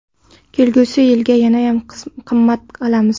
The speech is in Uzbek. Kelgusi yilga yanayam qimmat qilamiz.